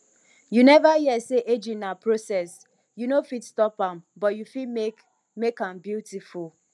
you neva hear sey aging na process you no fit stop am but you fit make make am beautiful